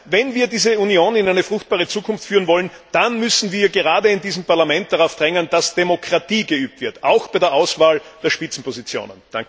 Wenn wir die Union also in eine fruchtbare Zukunft führen wollen, dann müssen wir gerade in diesem Parlament darauf drängen, dass Demokratie geübt wird, auch bei der Auswahl der Besetzung der Spitzenpositionen.